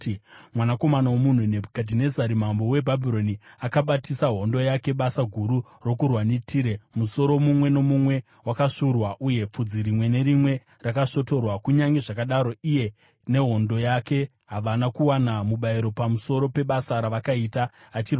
“Mwanakomana womunhu, Nebhukadhinezari mambo weBhabhironi akabatisa hondo yake basa guru rokurwa neTire; musoro mumwe nomumwe wakasvuurwa uye pfudzi rimwe nerimwe rakasvotorwa. Kunyange zvakadaro iye nehondo yake havana kuwana mubayiro pamusoro pebasa ravakaita achirwa naro.